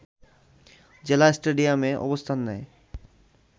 জেলা স্টেডিয়ামে অবস্থান নেয়